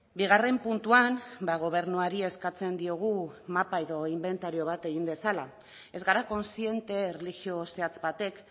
bigarren puntuan gobernuari eskatzen diogu mapa edo inbentario bat egin dezala ez gara kontziente erlijio zehatz batek